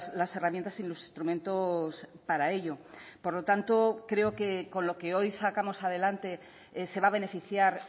las herramientas y los instrumentos para ello por lo tanto creo que con lo que hoy sacamos adelante se va a beneficiar